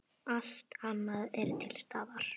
Allt annað er til staðar.